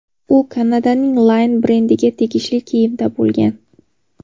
U Kanadaning Line brendiga tegishli kiyimda bo‘lgan.